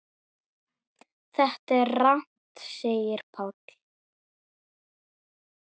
Þetta er rangt segir Páll.